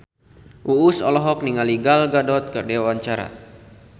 Uus olohok ningali Gal Gadot keur diwawancara